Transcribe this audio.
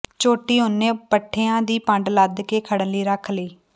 ਝੋਟੀ ਉਹਨੇ ਪੱਠਿਆਂ ਦੀ ਪੰਡ ਲੱਦ ਕੇ ਖੜਨ ਲਈ ਰੱਖ ਲਈ